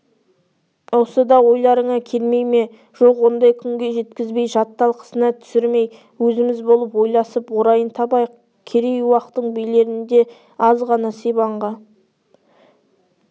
осы да ойларыңа келмей ме жоқ ондай күнге жеткізбей жат талқысына түсірмей өзіміз болып ойласып орайын табайық керей уақтың билерінде аз ғана сибанға